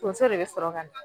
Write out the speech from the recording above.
Tonso de be sɔrɔ ka na.